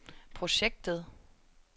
projektet